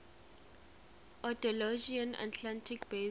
andalusian atlantic basin